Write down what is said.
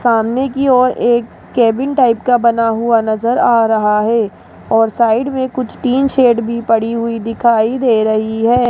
सामने की ओर एक केबिन टाइप का बना हुआ नजर आ रहा है और साइड में कुछ टीन शेड भी पड़ी हुई दिखाई दे रही है।